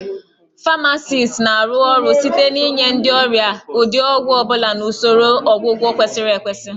Famacist na-arụ ọrụ site n'inye ndị ọrịa ụdị ọgwụ ọ bụla na usoro ọgwụgwọ kwesịrị ekwesị